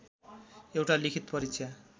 एउटा लिखित परीक्षा